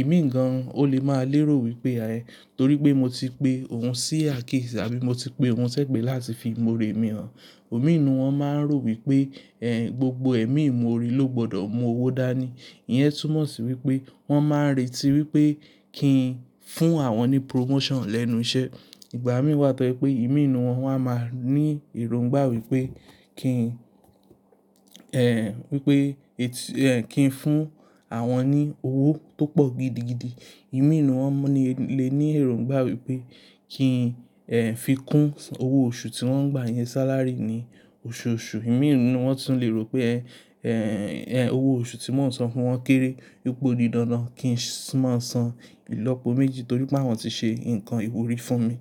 Ìmíì gan-an ó lè máa lérò wípé ayé torí pé mo ti pe òun sí àkíyèsí àbí mo ti pe òun sẹ́gbẹ̀ẹ́ láti fi ìmọ̀ore mi hàn. Òmi inú wọn máa ń rò wípé, ehn, gbogbo ẹ̀mí ìmọ̀ore ló gbọdọ̀ mú owó dá ni. Iyẹn túmọ̀ sí wípé wọ́n máa ń retí wípé kí n fún àwọn ní promotion lẹ́nu iṣẹ́. Ìgbà mìíràn tọ́ pé ìmí ninú wọn wá máa ní èròngbà wípé kí n, ehn, wípé, etí, ehn, kí n fún àwọn ní owó tó pọ̀ gidi gidi. Ìmí inú wọn le ní èròngbà wípé kí n, ehn, fi kún owó oṣù tí wọ́n ń gbà yẹn salary ni oṣooṣù. Ìmí inú wọn tún lè rò pé, ehn, ehn, owó oṣù tí wọ́n ń san fún wọn kéré wípé ó di dandan kí n sì máa san ìlọ́po méjì torí pé àwọn ti ṣe ǹkan ìwúrí fún mi.